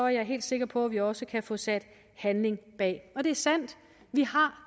jeg helt sikker på at vi også kan få sat handling bag og det er sandt vi har